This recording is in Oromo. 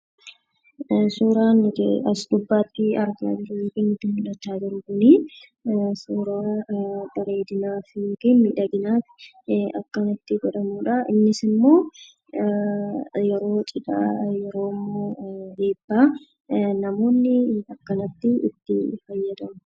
Suuraan nuti asi gubbatti argaa jirru kun, suuraa bareedina fi miidhagina akkanatti godhamudha. Innis immoo yeroo cidhaa, yeroo eebbaa namoonni akkanatti itti faayyaamu.